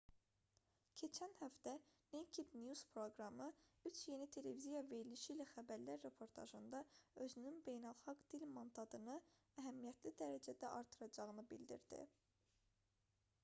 keçən həftə naked news proqramı üç yeni televiziya verilişi ilə xəbərlər reportajında özünün beynəlxalq dil mandatını əhəmiyyətli dərəcədə artıracağını bildirdi